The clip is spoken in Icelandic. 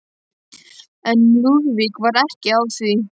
En Lúðvík var ekki á því.